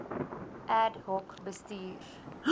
ad hoc bestuurs